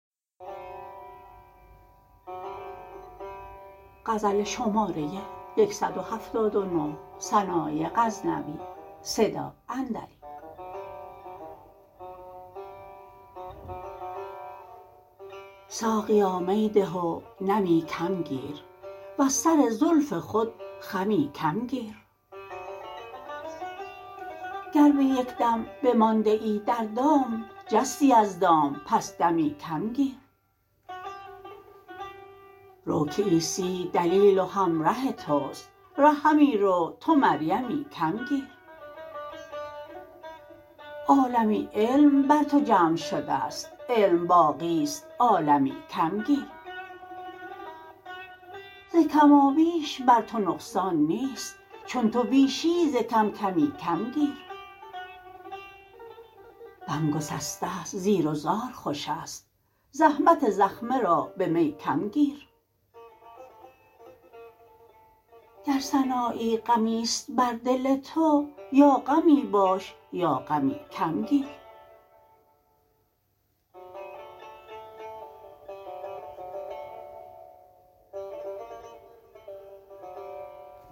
ساقیا می ده و نمی کم گیر وز سر زلف خود خمی کم گیر گر به یک دم بمانده ای در دام جستی از دام پس دمی کم گیر رو که عیسی دلیل و همره تست ره همی رو تو مریمی کم گیر عالمی علم بر تو جمع شدست علم باقیست عالمی کم گیر ز کما بیش بر تو نقصان نیست چون تو بیشی ز کم کمی کم گیر بم گسسته ست زیر و زار خوشست زحمت زخمه را به می کم گیر گر سنایی غمی ست بر دل تو یا غمی باش یا غمی کم گیر